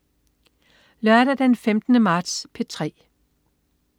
Lørdag den 15. marts - P3: